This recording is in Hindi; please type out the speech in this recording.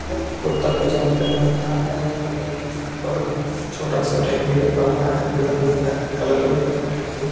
कुर्ता पजामा पेहना हुआ है बगल में ऊपर छोटा सा टंकी रखा हुआ है पीला कलर का है काला कलर का टंकी --